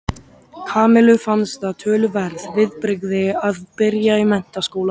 Kamillu fannst það töluverð viðbrigði að byrja í menntaskóla.